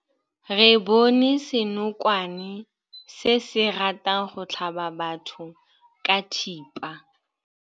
Re bone senokwane se se ratang go tlhaba batho ka thipa.